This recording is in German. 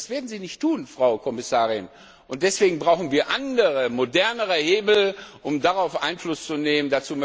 Das werden sie nicht tun, Frau Kommissarin, und deswegen brauchen wir andere, modernere Hebel, um darauf Einfluss zu nehmen.